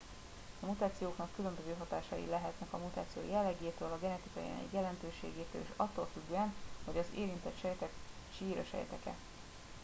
a mutációknak különböző hatásai lehetnek a mutáció jellegétől a genetikai anyag jelentőségétől és attól függően hogy az érintett sejtek csíra sejtek e